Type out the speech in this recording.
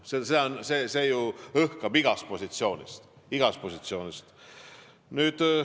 Seda õhkub igast positsioonist.